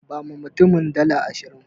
Bawa mutumin dala ashirin.